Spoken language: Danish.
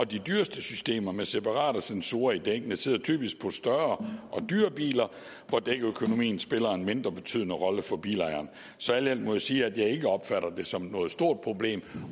de dyreste systemer med separate sensorer i dækkene sidder typisk på de større og dyrere biler hvor dækøkonomien spiller en mindre betydende rolle for bilejeren så alt i alt må jeg sige at jeg ikke opfatter det som noget stort problem